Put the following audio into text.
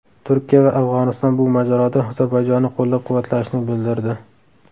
Turkiya va Afg‘oniston bu mojaroda Ozarbayjonni qo‘llab-quvvatlashni bildirdi.